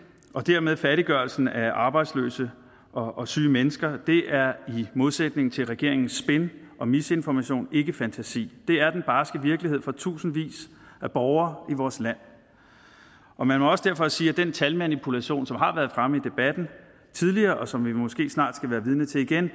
og dermed fattiggørelsen af arbejdsløse og syge mennesker er i modsætning til regeringens spin og misinformation ikke fantasi det er den barske virkelighed for tusindvis af borgere i vores land og man må også derfor sige at den talmanipulation som har været fremme i debatten tidligere og som vi måske snart skal være vidne til igen